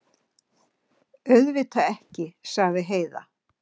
Auðvitað ekki, sagði Heiða.